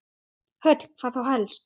Hödd: Hvað þá helst?